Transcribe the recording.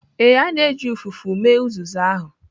Ee, a na-eji ụfụfụ mee uzuzu ahụ.